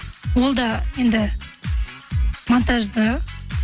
ол да енді монтажда